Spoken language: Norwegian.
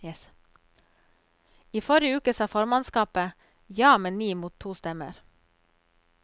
I forrige uke sa formannskapet ja med ni mot to stemmer.